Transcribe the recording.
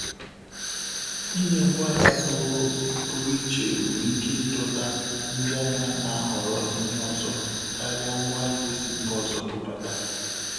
Inye ngwaahịa pụrụ pụrụ iche nwere ike ịdọta ndị ahịa na-ahọrọ ihe ọzọ karia ngwa ahịa e sị mba ọzọ bubata.